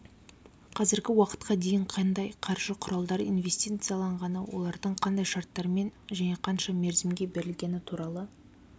қазіргі уақытқа дейін қандай қаржы құралдары инвестицияланғаны олардың қандай шарттармен және қанша мерзімге берілгені туралы